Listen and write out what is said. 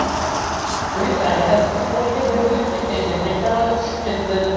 Britaniyada telefoniga berilib ketgan erkak kanalga tushib ketdi .